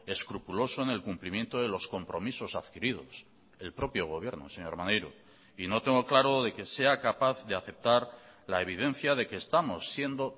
escrupuloso en el cumplimiento de los compromisos adquiridos el propio gobierno señor maneiro y no tengo claro de que sea capaz de aceptar la evidencia de que estamos siendo